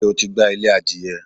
Ṣé o ti gbá ilé adìyẹ?